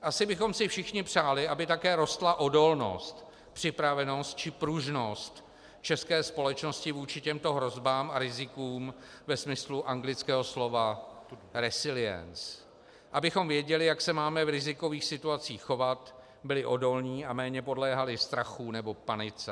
Asi bychom si všichni přáli, aby také rostla odolnost, připravenost či pružnost české společnosti vůči těmto hrozbám a rizikům ve smyslu anglického slova resilience, abychom věděli, jak se máme v rizikových situacích chovat, byli odolní a méně podléhali strachu nebo panice.